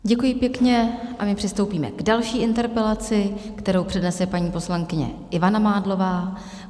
Děkuji pěkně a my přistoupíme k další interpelaci, kterou přednese paní poslankyně Ivana Mádlová.